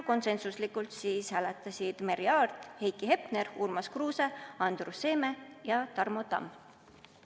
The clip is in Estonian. Konsensuslikult hääletasid Merry Aart, Heiki Hepner, Urmas Kruuse, Andrus Seeme ja Tarmo Tamm.